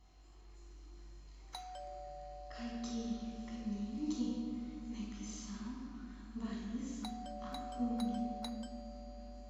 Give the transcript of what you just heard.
какие книги написал борис акунин